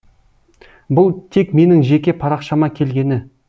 бұл тек менің жеке парақшама келгені